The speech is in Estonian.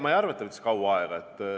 Ma ei arva, et see võttis kaua aega.